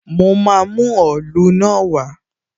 Mo máa mú òòlu náà wá